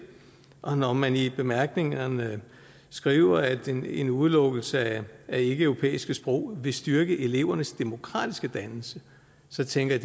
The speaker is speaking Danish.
og når man i bemærkningerne skriver at en en udelukkelse af ikkeeuropæiske sprog vil styrke elevernes demokratiske dannelse så tænker